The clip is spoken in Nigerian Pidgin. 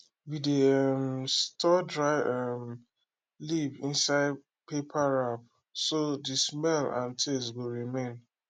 we dey um store dry um leaf inside paper wrap so the smell and taste go remain